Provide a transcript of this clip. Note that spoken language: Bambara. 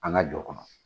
An ka jɔ kɔnɔ